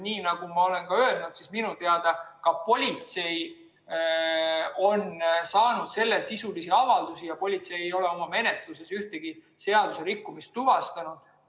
Nii nagu ma olen öelnud, minu teada on ka politsei saanud sellesisulisi avaldusi ja politsei ei ole oma menetluses ühtegi seaduserikkumist tuvastanud.